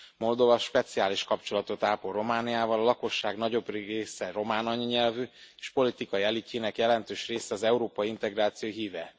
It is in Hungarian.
Moldova speciális kapcsolatot ápol Romániával, a lakosság nagyobbik része román anyanyelvű, és politikai elitjének jelentős része az európai integráció híve.